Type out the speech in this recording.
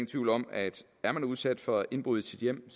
tvivl om at er man udsat for indbrud i sit hjem